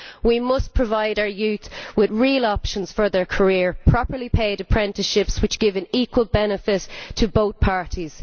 We must provide our youth with real options for their career and properly paid apprenticeships which give an equal benefit to both parties.